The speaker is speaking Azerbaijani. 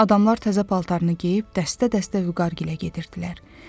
Adamlar təzə paltarını geyib dəstə-dəstə Vüqar gilə gedirdilər.